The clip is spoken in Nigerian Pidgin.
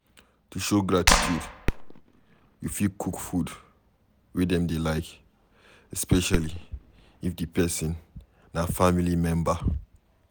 to show gratitude you fit cook food wey dem dey like, especially if di person na family member